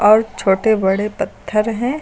और छोटे बड़े पत्थर हैं।